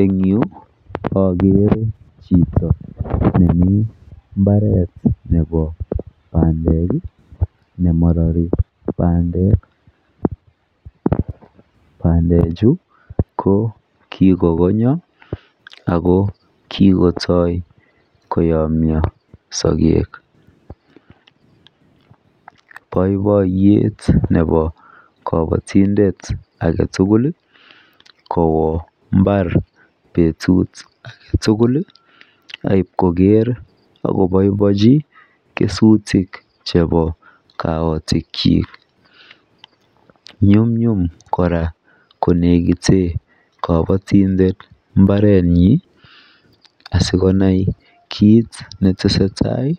en yuu ogere chito nemiii mbareet nebo bandeek iih nemoroi bandeek, bandeek chu ko kigokongyo ago kigotoi koyomyo sageek, boiboiyeet nebo kobotindet agetul iih kowaa imbaar betuut agetugul aib kogeer ak koboiboenchi kesutik chebo kaotik kyiik, nyumnyum kora konegiteen kobotindet mbarenyin asigonai kiit netesetai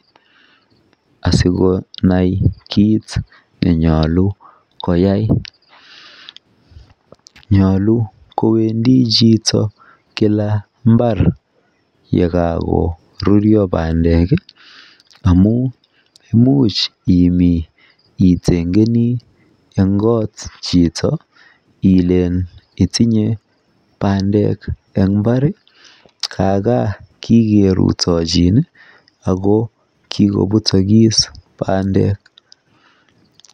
asigonai kiit neyoche koyaai, nyolu kowendi chuito kila mbaar yea korurryo bandeek iih amuun imiin itingenii en koot chito ilen itinye bandeek en imbaar iih, aga kigerutochin ago kigobutogis bandeek,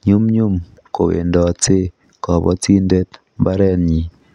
nyumnyum kowendote kobotindet mbarenyin.